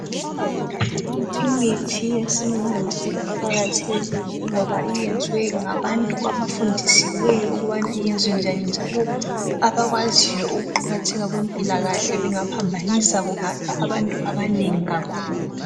Imithi yesimanje iqakathekile ngoba yenziwe ngabantu abafundisiweyo ukuba yenziwe njani njalo abakwaziyo ukuqakatheka kwempilakahle. Bengaphambanisa kungafa abantu abanengi kakhulu.